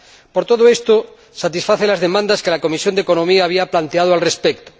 Por todo esto, satisface las demandas que la Comisión de Asuntos Económicos había planteado al respecto.